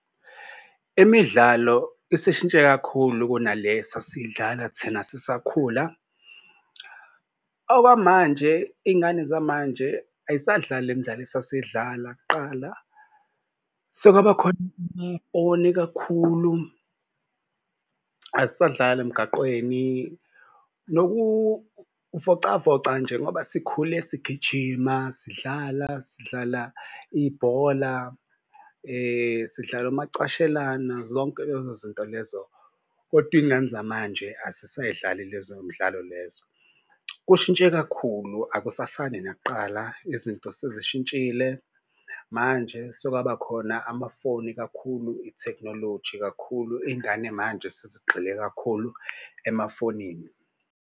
Imidlalo esishintshe kakhulu kunale esasidlala thina sisakhula. Okwamanje iy'ngane zamanje ayisadlali le midlalo esasidlala kuqala. Sekwabakhona ifoni kakhulu azisadlali emgaqweni nokuvocavoca nje ngoba sikhule sigijima sidlala sidlala ibhola sidla umacashelana. Zonke lezo zinto lezo, kodwa iy'ngane zamanje azisayidlali lezo mdlalo lezo kushintshe kakhulu akusafani nakuqala. Izinto sezishintshile manje sekwaba khona amafoni kakhulu ithekhinoloji kakhulu iy'ngane manje sesigxile kakhulu emafonini.